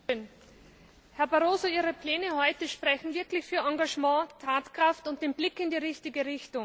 Herr Präsident! Herr Barroso, Ihre Pläne heute sprechen wirklich für Engagement, Tatkraft und den Blick in die richtige Richtung.